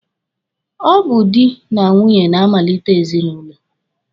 Ọ bụ dị na nwunye na-amalite ezinụlọ.